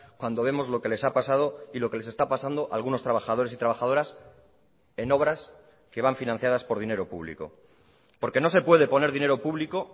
cuando vemos lo que les ha pasado y lo que les está pasando a algunos trabajadores y trabajadoras en obras que van financiadas por dinero público porque no se puede poner dinero público